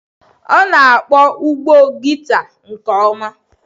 ọ na-akpọ ụbọ gita nke ọma.